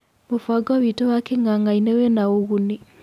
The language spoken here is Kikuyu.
Mũbango witũ wa king'ang'ainĩ wĩna ũguni."